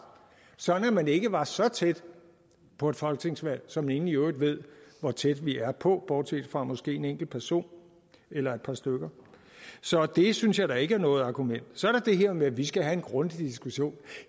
sådan at man ikke var så tæt på et folketingsvalg som ingen i øvrigt ved hvor tæt vi er på bortset fra måske en enkelt person eller et par stykker så det synes jeg da ikke er noget argument så er der det her med at vi skal have en grundig diskussion